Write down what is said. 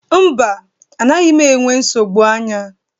Mba, anaghị m enwe nsogbu anya